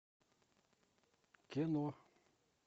кино